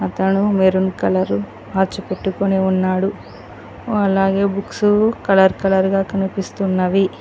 అతను maroon colour watch పెట్టుకుని ఉన్నాడు అలాగే బుక్స్ కలర్ కలర్ గా కనిపిస్తున్నవి.